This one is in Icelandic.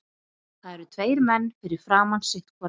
Það eru tveir menn fyrir framan sitt hvora.